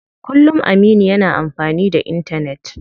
Kullum Aminu yana amfani da intanet.